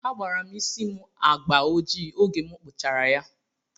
Agbara m isí m agbà ojii oge m kpụchara ya.